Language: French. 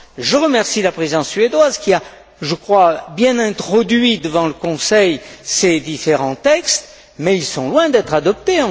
Je remercie la Présidence suédoise qui a, je crois, bien introduit devant le Conseil ces différents textes, mais ils sont encore loin d'être adoptés.